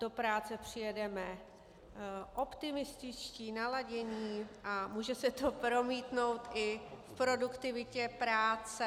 Do práce přijedeme optimističtí, naladění a může se to promítnout i v produktivitě práce.